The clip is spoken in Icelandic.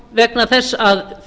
vegna þess að